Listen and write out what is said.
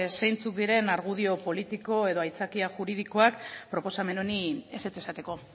zeintzuk diren argudio politiko edo aitzakia juridikoak proposamen honi ezetz esateko